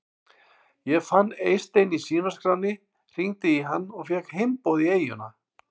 Ég fann Eystein í símaskránni, hringdi í hann og fékk heimboð í eyjuna.